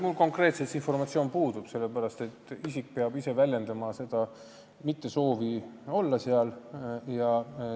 Mul konkreetselt sellist informatsiooni ei ole, sellepärast et isik peab ise väljendama soovi seal mitte olla.